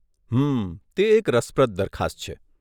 હમ્મ, તે એક રસપ્રદ દરખાસ્ત છે.